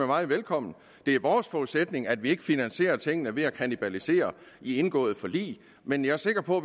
meget velkommen det er vores forudsætning at vi ikke finansierer tingene ved at kannibalisere de indgåede forlig men jeg er sikker på